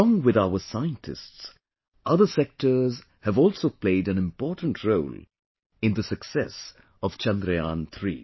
Along with our scientists, other sectors have also played an important role in the success of Chandrayaan3